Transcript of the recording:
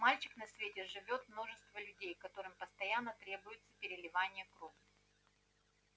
мальчик на свете живёт множество людей которым постоянно требуется переливание крови